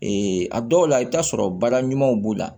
a dɔw la i bɛ taa sɔrɔ baara ɲumanw b'o la